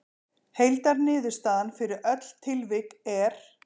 Heildarniðurstaðan fyrir öll tilvik er